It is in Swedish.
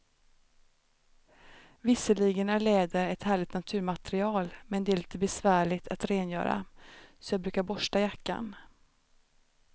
Visserligen är läder ett härligt naturmaterial, men det är lite besvärligt att rengöra, så jag brukar borsta jackan.